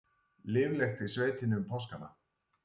Líflegt í sveitinni um páskana